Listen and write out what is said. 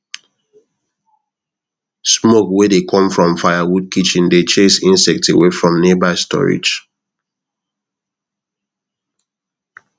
smoke wey dey come from firewood kitchen dey chase insect away from nearby storage